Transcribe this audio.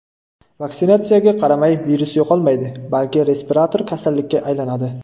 Vaksinatsiyaga qaramay, virus yo‘qolmaydi, balki respirator kasallikka aylanadi.